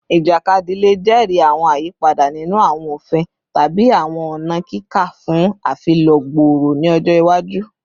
Ijakadi le jẹri awọn ayipada ninu awọn ofin tabi awọn ọna kika fun afilọ gbooro ni ọjọ iwaju